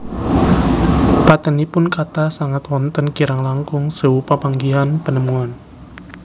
Patènipun kathah sanget wonten kirang langkung sewu papanggihan penemuan